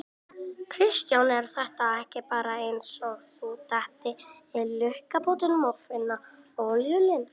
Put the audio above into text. Kristján: Er þetta ekki bara eins og að detta í lukkupottinn og finna olíulind?